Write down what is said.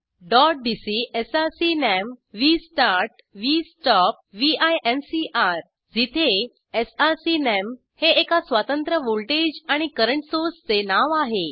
dot DC SRC name V start V stop V incr जिथे SRC name हे एका स्वतंत्र व्हॉल्टेज आणि करंट सोर्सचे नाव आहे